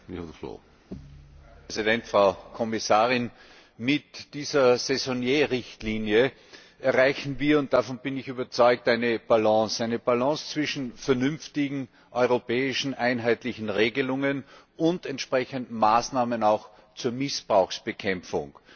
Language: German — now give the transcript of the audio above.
Herr Präsident, Frau Kommissarin! Mit dieser Saisonniers Richtlinie erreichen wir, und davon bin ich überzeugt, eine Balance eine Balance zwischen vernünftigen europäischen einheitlichen Regelungen und entsprechenden Maßnahmen auch zur Missbrauchsbekämpfung.